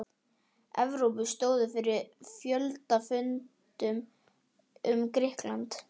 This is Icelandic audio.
Evrópu stóðu fyrir fjöldafundum um Grikkland.